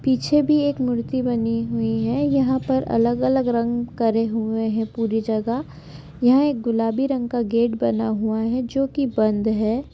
--पीछे भी एक मूर्ति बनी हुई है यहां पर अलग अलग रंग करे हुए हैं पूरी जगह यहां एक गुलाबी रंग का गेट बना हुआ है जो कि बंद है।